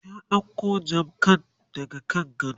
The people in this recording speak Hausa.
ta ɗauko jakan daga kan gado?